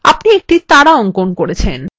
আপনি একটি তারা অঙ্কন করেছেন